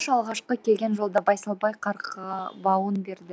мақыш алғашқы келген жолда байсалбай қарғыбауын берді